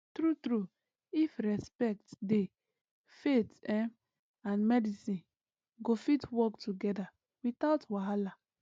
true true if respect dey faith ehm and medicine go fit work together without wahala